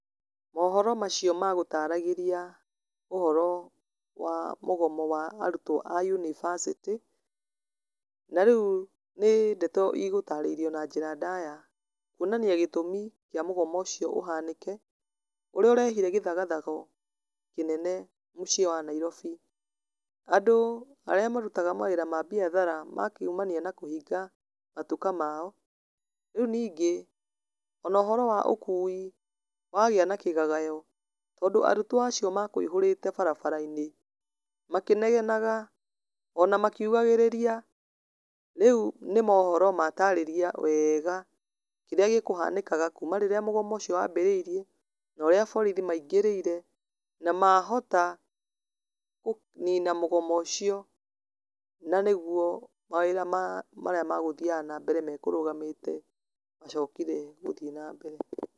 Mohoro macio magũtaragĩria ũhoro wa mũgomo wa arutwo a yunibacĩtĩ, na rĩu nĩ ndeto ĩgũtaarĩirio na njĩra ndaya, kwonania gĩtũmi kia mũgomo ũcio ũhanĩke, ũrĩa ũrehire gĩthagathago kĩnene mũciĩ wa Nairobi. Andũ arĩa marutaga mawĩra ma biacara makiumania na kũhinga matuka mao, rĩu ningĩ ona ũhoro wa ũkui wagia na kĩgagayo, tondũ arutwo acio makũihũrĩte barabara-inĩ makĩnegenaga ona makiugagĩrĩria. Rĩu nĩ mohoro mataarĩria wega kĩrĩa gĩkũhanĩkaga, kuuma rĩrĩa mũgomo ũcio wambĩrĩirie, na ũrĩa borithi maingĩrĩire na mahota kũnina mũgomo ũcio, na nĩguo mawĩra ma, marĩa magũthiaga na mbere makũrũgamĩte macokire gũthiĩ na mbere.